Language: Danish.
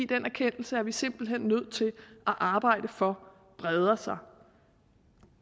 den erkendelse er vi simpelt hen nødt til at arbejde for breder sig